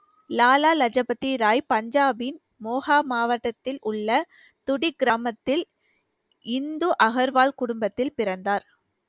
Lala Lajpat Rai பஞ்சாபின் மோகா மாவட்டத்தில் உள்ள துடி கிராமத்தில் இந்து அகர்வால் குடும்பத்தில் பிறந்தார்